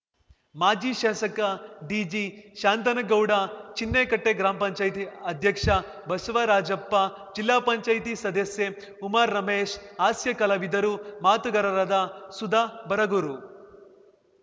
ಮಾಜಿ ಶಾಸಕ D G Shanthanagouda ಚಿನ್ನೇಕಟ್ಟೆಗ್ರಾಮ್ ಪಂಚಾಯ್ತಿ ಅಧ್ಯಕ್ಷ ಬಸವರಾಜಪ್ಪ ಜಿಲ್ಲಾ ಪಂಚಾಯತಿ ಸದಸ್ಯೆ ಉಮಾರಮೇಶ್‌ ಹಾಸ್ಯ ಕಲಾವಿದರು ಮಾತುಗಾರರರಾದ ಸುಧಾ ಬರಗೂರು